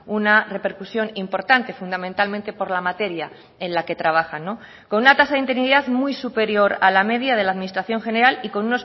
una repercusión importante fundamentalmente por la materia en la que trabajan con una tasa de interinidad muy superior a la media de la administración general y con